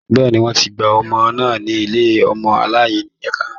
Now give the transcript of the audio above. Bẹ́ẹ̀ni, wọ́n ti gba ọmọ náà ní ilé ọmọ aláìnìyá.